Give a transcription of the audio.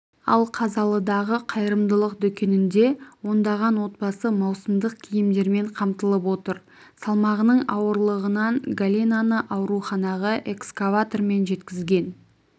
ал қазалыдағы қайырымдылық дүкенінде ондаған отбасы маусымдық киімдермен қамтылып отыр салмағының ауырлығынан галинаны ауруханаға экскаватормен жеткізген